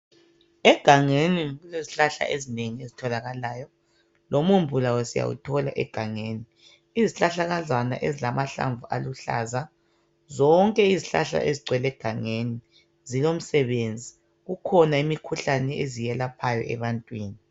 Egangeni kulezihlahla ezinengi ezitholakalayo. Lomumbu lawo siyawuthola egangeni. Izihlahlakazana ezilamahlamvu aluhlaza .Zonke izihlahla ezigcwele egangeni zilomsebenzi .Kukhona imikhuhlane eziyelaphayo ebantwini.